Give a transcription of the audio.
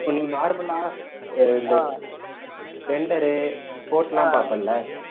நீ normal ஆ அஹ் இந்த splender, sports எல்லாம் பாப்பல்ல